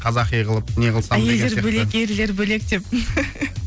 қазақи қылып не қылсам деген сияқты айелдер бөлек ерлер бөлек деп